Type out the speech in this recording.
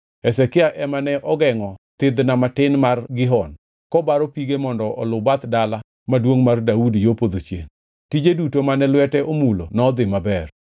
Hezekia ema ne ogengʼo thidhna matin mar Gihon kobaro pige mondo oluw bath Dala Maduongʼ mar Daudi yo podho chiengʼ. Tije duto mane lwete omulo nodhi maber.